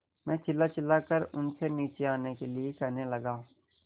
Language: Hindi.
मैं चिल्लाचिल्लाकर उनसे नीचे आने के लिए कहने लगा